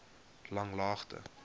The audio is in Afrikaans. langlaagte